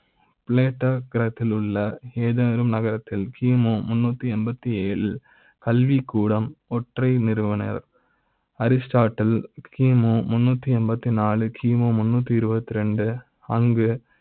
plateau உள்ள ஏதேனும் நகர த்தில் கி மு முந்நூறு எண்பது ஏழு கல்விக்கூட ம் ஒற்றை நிறுவனர் Aristotle கி மு முந்நூறு எண்பத்தி நான்கு கி மு முந்நூறு இருபத்தி இரண்டு அங்கு